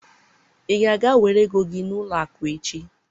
ị ga-aga were ego gị n'ụlọ akụ echi?